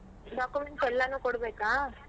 Documents ಎಲ್ಲಾನು ಕೊಡ್ಬೇಕಾ?